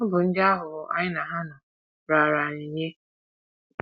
Ọ bụ ndị aghụghọ anyị na ha nọ raara anyị nye.